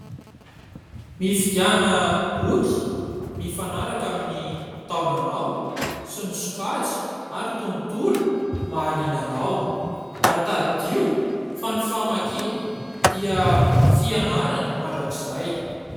Mifidiana boky mifanaraka amin'ny taonanao sy ny sokajy ary tontolo mahaliana anao ary taddio fa ny famakiana dia fianarana mandrakizay.